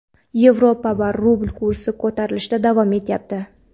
yevro va rubl kursi ko‘tarilishda davom etyapti.